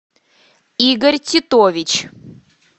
игорь титович